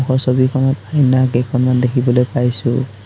এই ছবিখনত আইনা কেইখনমান দেখিবলৈ পাইছোঁ।